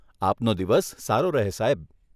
આપનો દિવસ સારો રહે સાહેબ.